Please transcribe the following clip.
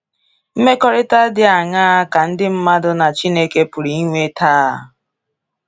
Mmekọrịta dị aṅaa ka ndị mmadụ na Chineke pụrụ inwe taa?